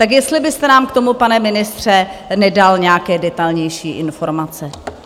Tak jestli byste nám k tomu, pane ministře, nedal nějaké detailnější informace.